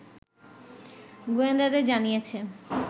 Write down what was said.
গোয়েন্দাদের জানিয়েছে